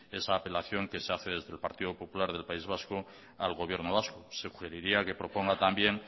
esa apelación que se hace desde el partido popular del país vasco al gobierno vasco sugeriría que proponga también